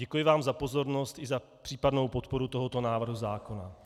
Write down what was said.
Děkuji vám za pozornost i za případnou podporu tohoto návrhu zákona.